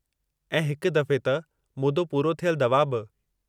ऐं हिकु दफ़े त मुदो पूरो थियल दवा बि।